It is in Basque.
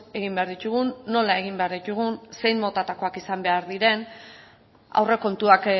egin behar ditugun nola egin behar ditugun zein motatakoak izan behar diren aurrekontuak